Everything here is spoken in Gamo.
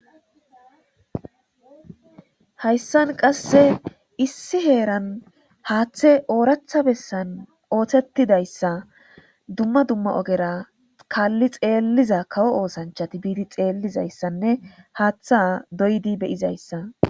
Hayssan qasse issi heeran haaththe ooratha bessan oothettidayssa dumma dumma ogera kaalli xeelliza kawo oosanchati biidi xeellizayssanne haaththa doydi beyizayssa.